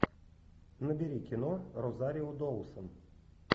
набери кино розарио доусон